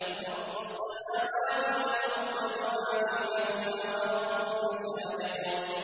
رَّبُّ السَّمَاوَاتِ وَالْأَرْضِ وَمَا بَيْنَهُمَا وَرَبُّ الْمَشَارِقِ